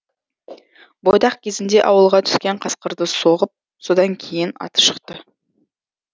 бойдақ кезінде ауылға түскен қасқырды соғып содан кейін аты шықты